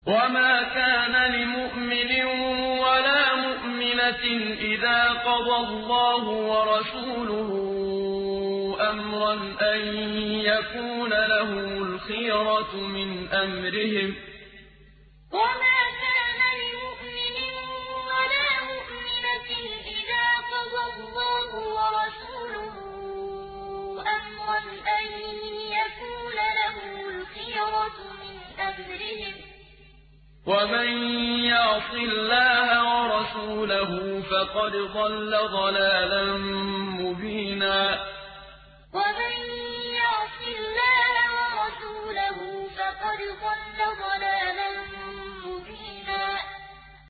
وَمَا كَانَ لِمُؤْمِنٍ وَلَا مُؤْمِنَةٍ إِذَا قَضَى اللَّهُ وَرَسُولُهُ أَمْرًا أَن يَكُونَ لَهُمُ الْخِيَرَةُ مِنْ أَمْرِهِمْ ۗ وَمَن يَعْصِ اللَّهَ وَرَسُولَهُ فَقَدْ ضَلَّ ضَلَالًا مُّبِينًا وَمَا كَانَ لِمُؤْمِنٍ وَلَا مُؤْمِنَةٍ إِذَا قَضَى اللَّهُ وَرَسُولُهُ أَمْرًا أَن يَكُونَ لَهُمُ الْخِيَرَةُ مِنْ أَمْرِهِمْ ۗ وَمَن يَعْصِ اللَّهَ وَرَسُولَهُ فَقَدْ ضَلَّ ضَلَالًا مُّبِينًا